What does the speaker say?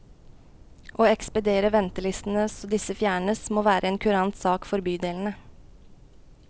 Å ekspedere ventelistene så disse fjernes, må være en kurant sak for bydelene.